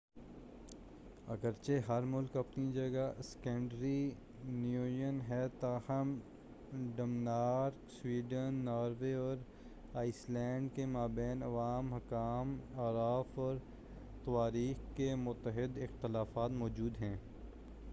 اگرچہ ہر ملک اپنی جگہ اسکینڈی نیوین' ہے تاہم ڈنمارک سویڈن ناروے اور آئس لینڈ کے ما بین عوام حکام اعراف اور تواریخ کے متعدد اختلافات موجود ہیں